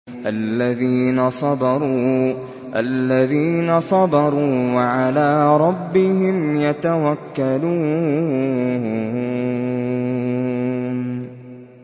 الَّذِينَ صَبَرُوا وَعَلَىٰ رَبِّهِمْ يَتَوَكَّلُونَ